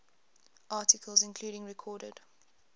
articles including recorded